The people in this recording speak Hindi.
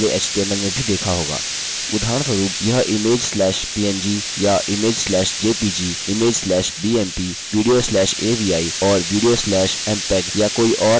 उदाहरणस्वरुप यह image slash png या image slash jpeg image slash bmp video slash avi और video slash mpeg या कोई और अन्य प्रारूप हो सकता है